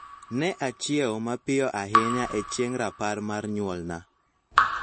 Ne achiewo mapiyo ahinya e chieng' rapar mar nyuolna